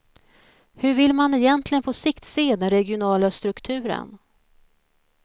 Hur vill man egentligen på sikt se den regionala strukturen?